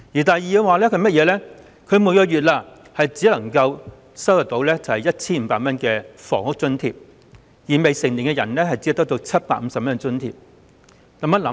第二，他們每月只有 1,500 元的房屋津貼，而未成年人則只得到750元津貼。